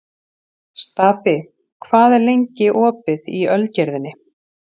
Stapi, hvað er lengi opið í Ölgerðinni?